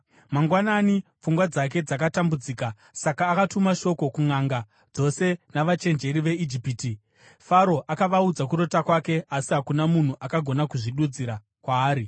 Mangwanani pfungwa dzake dzakatambudzika, saka akatuma shoko kunʼanga dzose navachenjeri veIjipiti. Faro akavaudza kurota kwake, asi hakuna munhu akagona kuzvidudzira kwaari.